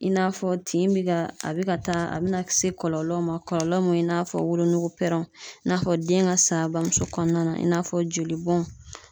I n'a fɔ tin bɛ ka a bɛ ka taa a bɛna se kɔlɔlɔw ma kɔlɔlɔ min i n'a fɔ wolonugu pɛrɛnw i n'a fɔ den ka sa a bamuso kɔnɔna i n'a fɔ joli bɔn.